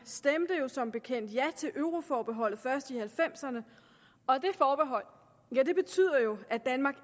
stemte jo som bekendt ja til euroforbeholdet først i nitten halvfemserne og det forbehold betyder jo at danmark